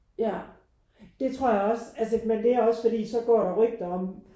Ja det tror jeg også altså men det er også fordi så går der rygter om